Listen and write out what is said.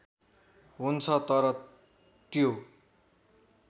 हुन्छ तर त्यो